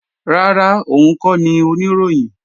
Rárá, òun kọ́ ni Oníròyìn